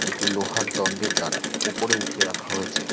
একটি লোহার দন্ডের দ্বারা ওপরে উঠিয়ে রাখা হয়েছে।